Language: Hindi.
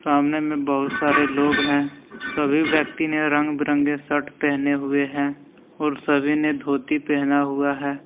सामने में बहुत सारे लोग हैं सभी व्यक्ति ने रंग बिरंगे शर्ट पहने हुए हैं और सभी ने धोती पहना हुआ है।